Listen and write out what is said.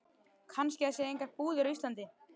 Kannski það séu engar búðir á Íslandi.